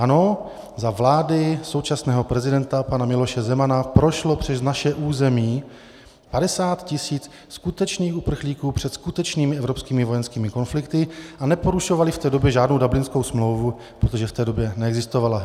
Ano, za vlády současného prezidenta pana Miloše Zemana prošlo přes naše území 50 tisíc skutečných uprchlíků před skutečnými evropskými vojenskými konflikty a neporušovali v té době žádnou Dublinskou smlouvu, protože v té době neexistovala.